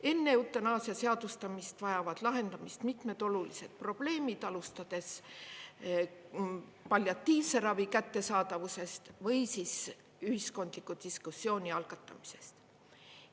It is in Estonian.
Enne eutanaasia seadustamist vajavad lahendamist mitmed olulised probleemid, alustades palliatiivse ravi kättesaadavusest või ühiskondliku diskussiooni algatamisest.